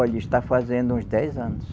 Olha, está fazendo uns dez anos.